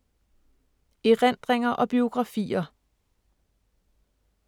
Erindringer og biografier